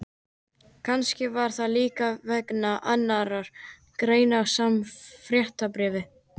Kannski var það líka vegna annarrar greinar í sama fréttabréfi.